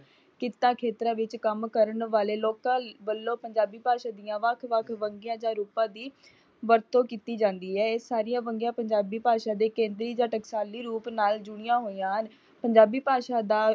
ਕਿੱਤਾ ਖੇਤਰਾਂ ਵਿੱਚ ਕੰਮ ਕਰਨ ਵਾਲੇ ਲੋਕਾਂ ਵੱਲੋਂ ਪੰਜਾਬੀ ਭਾਸ਼ਾਂ ਦੀ ਵੱਖ ਵੱਖ ਵੰਨਗੀਆਂ ਜਾਂ ਰੂਪਾਂ ਦੀ ਵਰਤੋਂ ਕੀਤੀ ਜਾਂਦੀ ਹੈ। ਇਹ ਸਾਰੀਆਂ ਵੰਨਗੀਆਂ ਪੰਜਾਬੀ ਭਾਸ਼ਾਂ ਦੇ ਕੇਂਦਰੀ ਜਾਂ ਟਕਸਾਲੀ ਰੂਪ ਨਾਲ ਜੁੜੀਆਂ ਹੋਈਆਂ ਹਨ। ਪੰਜਾਬੀ ਭਾਸ਼ਾ ਦਾ